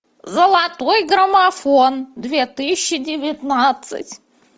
золотой граммофон две тысячи девятнадцать